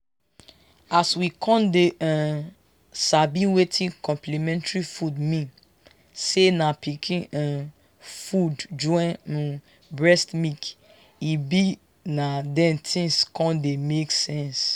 as we con dey um sabi wetin complementary food mean say na pikin um food join um breast milk e be na then things con dey make sense.